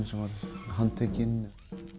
sem var handtekinn